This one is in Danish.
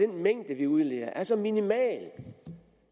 den mængde vi udleder er så minimal